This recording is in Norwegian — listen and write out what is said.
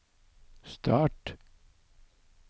start